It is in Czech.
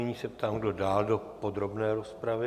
Nyní se ptám, kdo dál do podrobné rozpravy.